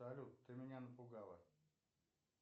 салют ты меня напугала